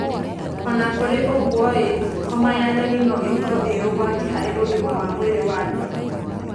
O na kũrĩ ũguo, homa ya nyoni no ĩkorwo ĩ ũgwati harĩ ũgima wa mwĩrĩ wa andũ.